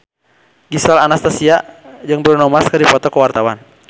Gisel Anastasia jeung Bruno Mars keur dipoto ku wartawan